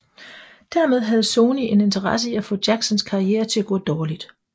Dermed havde Sony en interesse i at få Jacksons karriere til at gå dårligt